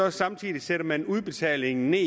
og samtidig sætter man udbetalingen